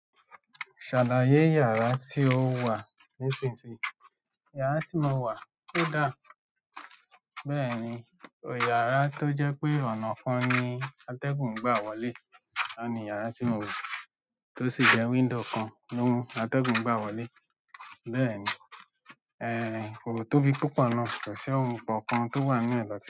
Ṣàláyé iyàrá tí o wà nísinsìnyí. Iyara ti mo wá, o da, mẹ́rin iyara ti o jẹ pé ọ̀nà kan ni atẹgun gba wọlé. Óun ni iyàrá tí mo wà, tó sì jẹ window kan ni atẹ́gùn gbà wọlé. Bẹ́ẹ̀ni, ẹ́, kò tóbi púpọ̀ náà, kò sí ohun kan kan tó wà nínú ẹ̀ lọ́